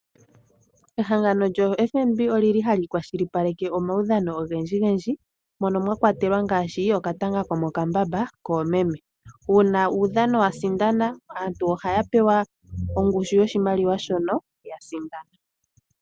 Ehangano lyoFNB olyili hali kwashilipaleke omaudhano ogendji gendji, mono mwa kwatelwa ngaashi okatanga komokambamba koomeme. Uuna uudhano wa sindana, aantu ohaya pewa ongushu yoshimaliwa shono ya sindana.